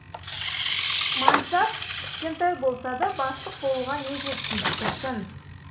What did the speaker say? мансап кішкентай болса да бастық болуға не жетсін шіркін